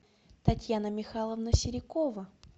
татьяна михайловна серикова